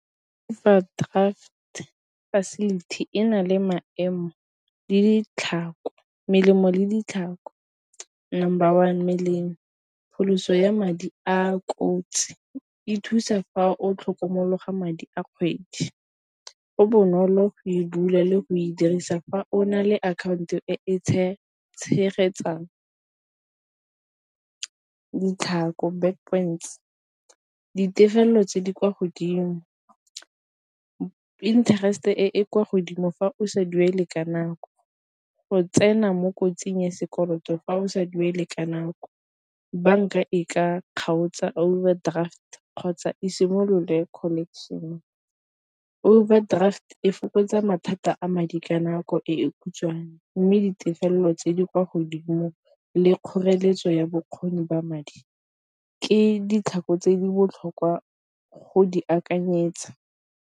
Overdraft facility ena le melemo le ditlhako, number one melomo pholoso ya madi a a kotsi e thusa fa o tlhokomologa madi a kgwedi. Go bonolo e bula le go e dirisa fa o na le akhaonto e e tshegetsang ditefelelo tse di kwa godimo, interest e e kwa godimo fa o sa duele ka nako, go tsena mo kotsing ya sekoloto fa o sa duele ka nako banka e ka kgaotsa overdraft kgotsa e simolole collection. Overdraft e fokotsa mathata a madi ka nako e khutshwane, mme ditefelelo tse di kwa godimo le kgoreletso ya bokgoni ba madi ke ditlhako tse di botlhokwa go di akanyetsa.